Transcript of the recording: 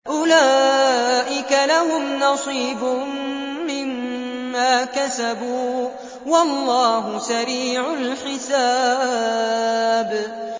أُولَٰئِكَ لَهُمْ نَصِيبٌ مِّمَّا كَسَبُوا ۚ وَاللَّهُ سَرِيعُ الْحِسَابِ